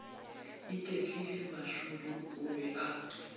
iketlile mashudu o be a